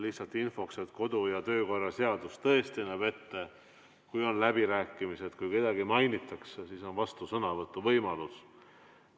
Lihtsalt infoks: kodu- ja töökorra seadus tõesti näeb ette, et kui on läbirääkimised ja kui kedagi mainitakse, siis on vastusõnavõtu võimalus.